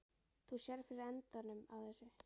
Þú sérð fyrir endanum á þessu?